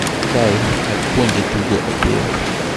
Kae, chak puonje tugo opira.